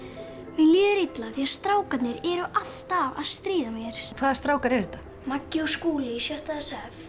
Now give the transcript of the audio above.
líður illa því strákarnir eru alltaf að stríða mér hvaða strákar eru þetta Maggi og Skúli í sjötta s f